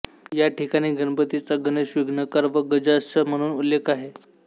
या ठिकाणी गणपतीचा गणेश विघ्नकर व गजास्य म्हणून उल्लेख आहे